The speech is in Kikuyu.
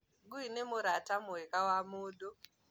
Ngũi nĩ mũrata mwega wa mũndu